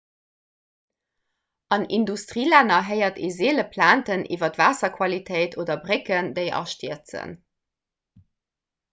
an industrielänner héiert ee seele plainten iwwer waasserqualitéit oder brécken déi astierzen